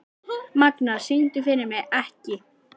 Magna, syngdu fyrir mig „Ekki“.